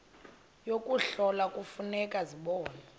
yokuhlola kufuneka zibonwe